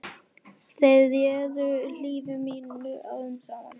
Þeir réðu lífi mínu árum saman.